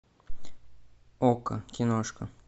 окко киношка